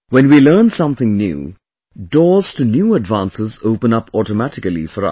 When we learn something new, doors to new advances open up automatically for us